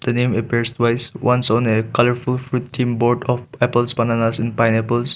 the name appears twice once on a colourful fruit theme board of apples bananas and pineapples.